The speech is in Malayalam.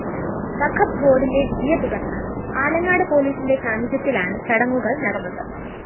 വഖബ് ബോര്‍ഡിന്റെ വിധിയെത്തുടര്‍ന്ന് ആലങ്ങാട് പോലീസിന്റെ സാന്നിധ്യത്തിലാണ് ചടങ്ങുകള്‍ നടന്നത്